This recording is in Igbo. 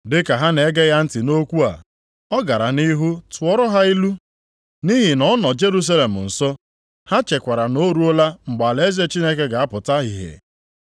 Dị ka ha na-ege ya ntị nʼokwu a, ọ gara nʼihu tụọrọ ha ilu, nʼihi na ọ nọ Jerusalem nso, ha chekwara na o ruola mgbe alaeze Chineke ga-apụta ihe.